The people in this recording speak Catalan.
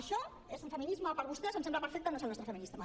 això és un feminisme per vostès em sembla perfecte no és el nostre feminisme